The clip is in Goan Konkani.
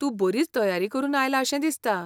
तूं बरीच तयारी करून आयला अशें दिसता.